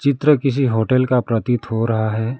चित्र किसी होटल का प्रतीत हो रहा है।